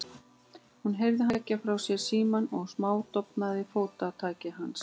Hún heyrði hann leggja frá sér símann og smádofnandi fótatak hans.